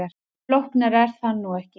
Flóknara er það nú ekki.